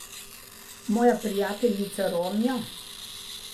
Moja prijateljica Ronja?